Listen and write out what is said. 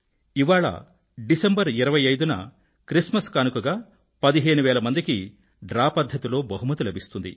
ఇవాళ డిసెంబర్ 25న Christmas కానుకగా పదిహేను వేల మందికి డ్రా పధ్ధతిలో బహుమతి లబిస్తుంది